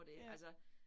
Ja